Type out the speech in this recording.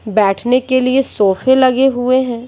बैठने के लिए सोफे लगे हुए हैं।